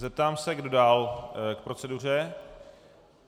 Zeptám se, kdo dál k proceduře.